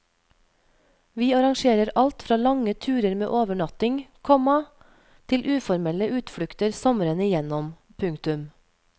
Vi arrangerer alt fra lange turer med overnatting, komma til uformelle utflukter sommeren igjennom. punktum